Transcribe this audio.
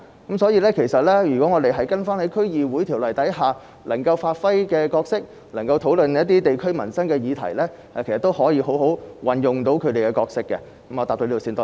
因此，如果區議會能夠根據《區議會條例》，好好地發揮其角色，討論地區民生議題，其實是可以有效地履行其職能的。